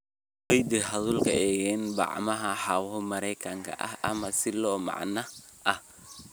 Ku kaydi hadhuudhka engegan bacaha hawo-mareenka ah ama silo macdan ah.